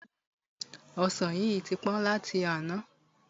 Ọsan yìí tí pọ́n láti àná.